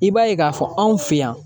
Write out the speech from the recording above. I b'a ye k'a fɔ anw fe yan